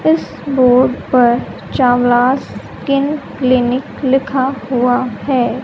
इस बोर्ड पर Chawla's skin clinic लिखा हुआ है।